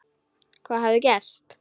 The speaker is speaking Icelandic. Hvað hafði gerst?